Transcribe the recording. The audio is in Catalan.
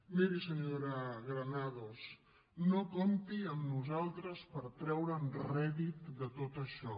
miri senyora granados no compti amb nosaltres per treure’n rèdit de tot això